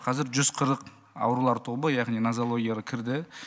қазір жүз қырық аурулар тобы яғни назологияға кірді